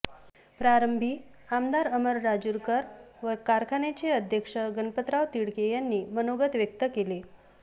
प्रारंभी आमदार अमर राजूरकर व कारखान्याचे अध्यक्ष गणपतराव तिडके यांनी मनोगत व्यक्त केले